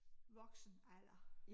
Voksenalder